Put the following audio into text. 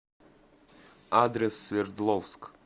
адрес свердловск